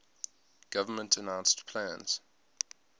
government announced plans